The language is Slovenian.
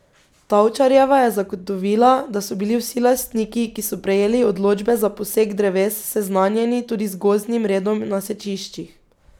Tavčarjeva je zagotovila, da so bili vsi lastniki, ki so prejeli odločbe za posek dreves, seznanjeni tudi z gozdnim redom na sečiščih.